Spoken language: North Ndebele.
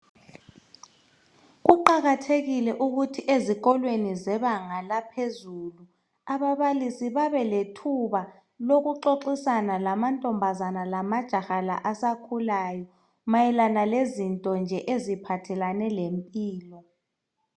Kuqakathekile ukuthi ezikolweni zebanga laphezulu ababalisi babelethuba lokuxoxisana lamantombazane lamajaha la asakhulayo mayelana lezinto nje eziphathelane lempilo.